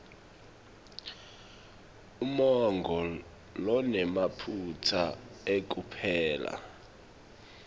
umongo lonemaphutsa ekupela